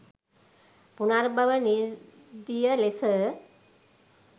පුනර්භව නිරුද්ධිය ලෙස